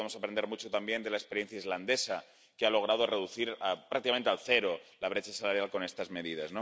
Creo que podemos aprender mucho también de la experiencia islandesa, que ha logrado reducir prácticamente a cero la brecha salarial con estas medidas.